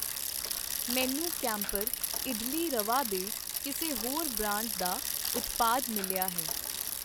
ਮੈਨੂੰ ਕੈਂਪਰ ਇਡਲੀ ਰਵਾ ਦੇ ਕਿਸੇ ਹੋਰ ਬ੍ਰਾਂਡ ਦਾ ਉਤਪਾਦ ਮਿਲਿਆ ਹੈ ।